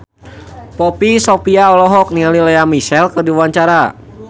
Poppy Sovia olohok ningali Lea Michele keur diwawancara